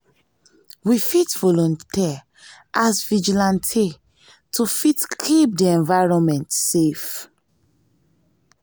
we fit volunteer as vigilante to fit keep di environment safe